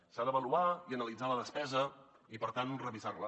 s’ha d’avaluar i analitzar la despesa i per tant revisar la